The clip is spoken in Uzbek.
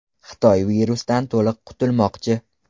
Xitoy virusdan to‘liq qutulmoqchi.